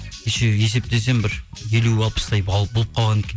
еще есептесем бір елу алпыстай болып қалған екен